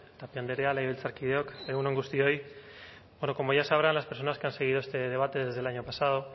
tapia andrea legebiltzarkideok egun on guztioi bueno como ya sabrá las personas que han seguido este debate desde el año pasado